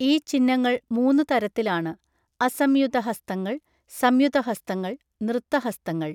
ഈ ചിഹ്നങ്ങൾ മൂന്ന് തരത്തിലാണ്, അസംയുത ഹസ്തങ്ങൾ, സംയുത ഹസ്തങ്ങൾ, നൃത്ത ഹസ്തങ്ങൾ.